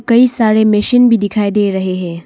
कई सारे मशीन भी दिखाई दे रहे हैं।